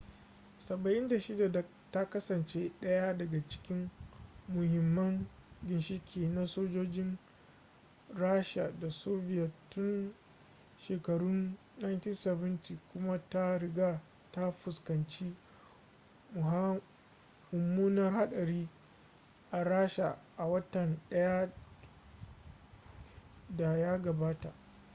il-76 ta kasance daya daga cikin muhimmin ginshiki na sojojin rasha da soviet tun shekarun 1970 kuma ta riga ta fuskanci mummunar hadari a rasha a watan da ya gabata